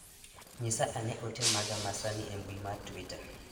nyisa ane ote maga ma sani e mbui mar twita